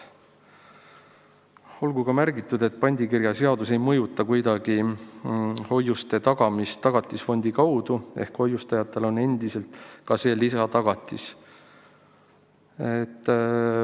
Olgu ka märgitud, et pandikirjaseadus ei mõjuta kuidagi hoiuste tagamist Tagatisfondi kaudu ehk hoiustajatel on endiselt ka see lisatagatis.